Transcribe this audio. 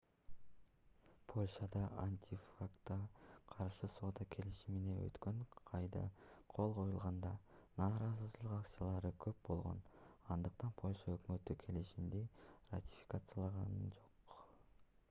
польшада антиконтрафактка каршы соода келишимине өткөн айда кол коюлганда нааразычылык акциялары көп болгон андыктан польша өкмөтү келишимди ратификациялаган жок